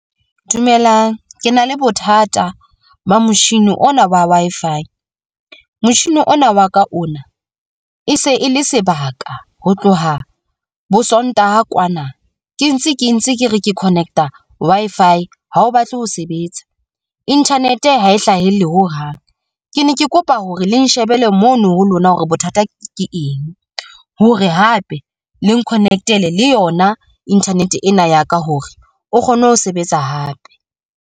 Dumelang ke na le bothata ba motjhini ona wa Wi-Fi. Motjhini ona wa ka ona e se e le sebaka ho tloha bo Sontaha kwana ke ntse ke ntse ke re ke connect-a Wi-Fi. Ha o batle ho sebetsa, internet ha e hlahelle ho hang. Ke ne ke kopa hore le nshebele mono ho lona hore bothata ke eng hore hape le connect-ele le yona internet ena ya ka hore o kgone ho sebetsa hape.